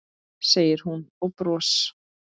segir hún og bros